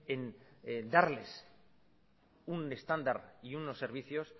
en darles un estándar y unos servicios